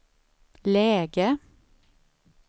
läge